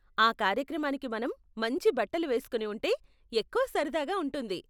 ఆ కార్యక్రమానికి మనం మంచి బట్టలు వేస్కొని ఉంటే ఎక్కువ సరదాగా ఉంటుంది.